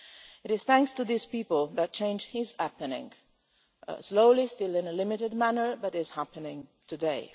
It is thanks to these people that change is happening slowly and still in a limited manner but is happening today.